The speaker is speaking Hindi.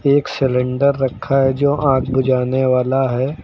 एक सिलेंडर रखा है जो आग बुझाने वाला है।